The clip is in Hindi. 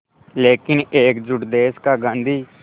लेकिन एकजुट देश का गांधी